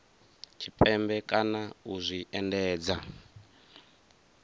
tshipembe kana u zwi endedza